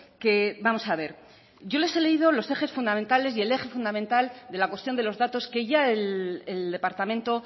que vamos a ver yo les he leído los ejes fundamentales y el eje fundamental de la cuestión de los datos que ya el departamento